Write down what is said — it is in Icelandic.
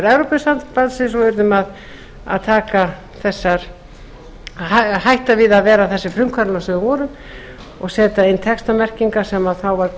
evrópusambandsins og urðum að hætta við að vera þessi frumkvöðlar sem við vorum og setja inn textamerkingar sem þá var